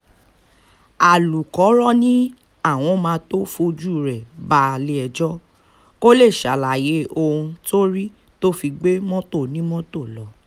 alūkkóró ni àwọn máa tóó fojú rẹ balẹ̀-ẹjọ́ kó lè ṣàlàyé ohun tó rí tó fi gbé mọ́tò onímọ́tò lọ